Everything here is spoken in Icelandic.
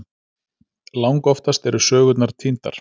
Langoftast eru sögurnar týndar.